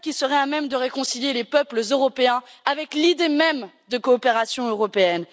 Voilà ce qui serait à même de réconcilier les peuples européens avec l'idée même de coopération européenne.